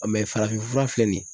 Ɔ mɛ farafin fura filɛ nin ye